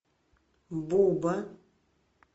буба